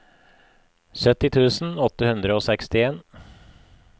sytti tusen åtte hundre og sekstien